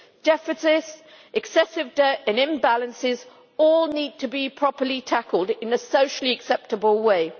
Deficits, excessive debt and imbalances all need to be properly tackled in a socially acceptable way.